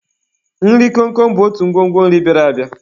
Nri komkom bụ otu ngwongwo nri bịara abịa.